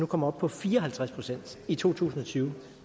kommer op på fire og halvtreds procent i to tusind og tyve